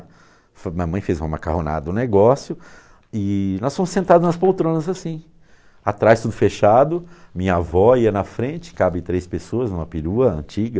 Minha mãe fez uma macarronada, um negócio, e nós fomos sentados nas poltronas assim, atrás tudo fechado, minha avó ia na frente, cabe três pessoas em uma perua antiga,